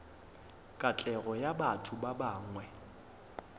katlego ya batho ba bangwe